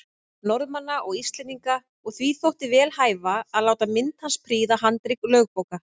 Norðmanna og Íslendinga, og því þótti vel hæfa að láta mynd hans prýða handrit lögbóka.